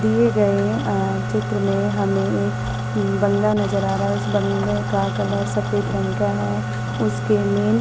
दिए गए हैं चित्र में हमें एक बांग्ला नजर आ रहा है उस बंगले का कलर सफेद रंग का है उसके मैन --